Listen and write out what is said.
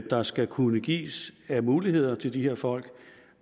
der skal kunne gives af muligheder til de her folk